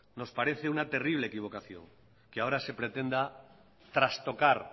nos parece una terrible equivocación que ahora se pretenda trastocar